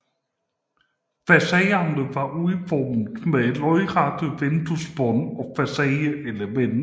Facaderne var udformet med lodrette vinduesbånd og facadeelementer